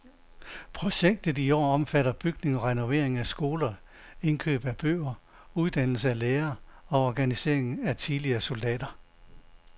Projektet i år omfatter bygning og renovering af skoler, indkøb af bøger, uddannelse af lærer og organisering af tidligere soldater.